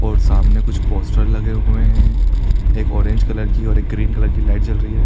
और सामने कुछ पोस्टर लगे हुए है एक ऑरेंज कलर की और एक ग्रीन कलर कि लाइट जल रही है।